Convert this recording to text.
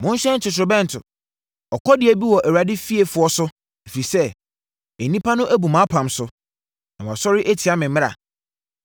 “Monhyɛn totorobɛnto! Ɔkɔdeɛ bi wɔ Awurade fiefoɔ so ɛfiri sɛ nnipa no abu mʼapam so na wɔasɔre atia me mmara.